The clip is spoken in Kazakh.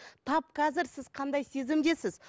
тап қазір сіз қандай сезімдесіз